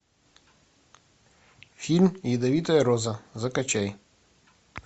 фильм ядовитая роза закачай